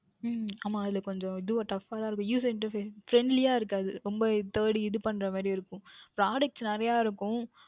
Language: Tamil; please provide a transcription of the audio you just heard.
உம் ஆமாம் அது எல்லாம் கொஞ்சம் இதுவாக Tough வாக தான் இருக்கும் User interfaceFrindly யாக இருக்காது ரொம்ப தேடி எடுத்து இது பண்ற மாதிரி இருக்கும் Products நிறைய இருக்கும்